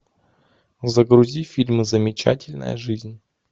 загрузи фильм замечательная жизнь